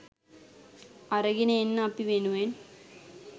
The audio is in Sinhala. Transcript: අරගෙන එන්න අපි වෙනුවෙන්